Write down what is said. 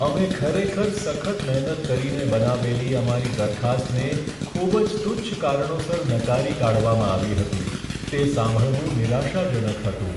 અમે ખરેખર સખત મહેનત કરીને બનાવેલી અમારી દરખાસ્તને ખૂબ જ તુચ્છ કારણોસર નકારી કાઢવામાં આવી હતી, તે સાંભળવું નિરાશાજનક હતું.